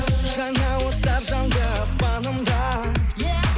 жаңа оттар жанды аспанымда е